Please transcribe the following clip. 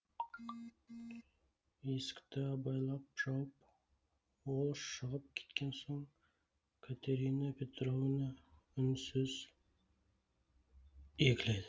есікті абайлап жауып ол шығып кеткен соң катерина петровна үнсіз егіледі